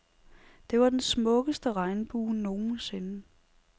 Det var den smukkeste regnbue nogensinde.